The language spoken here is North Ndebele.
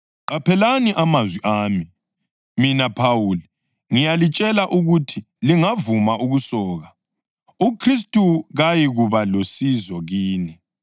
Qaphelani amazwi ami! Mina Phawuli, ngiyalitshela ukuthi lingavuma ukusoka, uKhristu kayikuba lusizo kini.